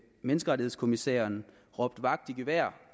menneskerettighedskommissæren råbt vagt i gevær